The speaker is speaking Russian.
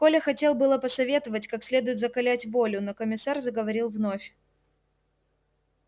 коля хотел было посоветовать как следует закалять волю но комиссар заговорил вновь